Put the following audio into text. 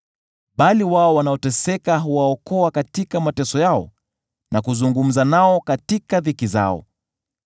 Bali wao wanaoteseka huwaokoa katika mateso yao, na kuzungumza nao katika dhiki zao.